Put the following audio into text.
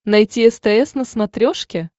найти стс на смотрешке